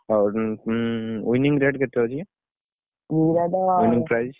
ହଉ ଉମ୍ winning rate କେତେ ଅଛି?